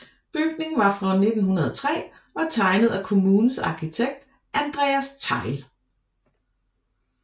Bygningen var fra 1903 og tegnet af kommunens arkitekt Andreas Thejll